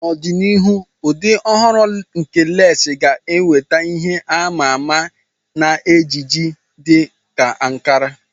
N'ọdịnihu, ụdị ọhụrụ nke lesii ga-enweta ihe a ma ama na ejiji dị ka ankara.